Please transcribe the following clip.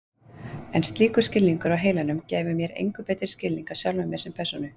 En slíkur skilningur á heilanum gæfi mér engu betri skilning á sjálfum mér sem persónu.